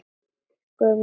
Gömlu hundana okkar.